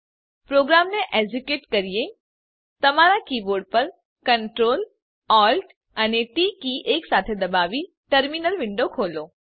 પ્રોગ્રામને એક્ઝેક્યુટ કરીએ તમારા કીબોર્ડ પર Ctrl Alt અને ટી કી એકસાથે દબાવી ટર્મીનલ વિન્ડો ખોલો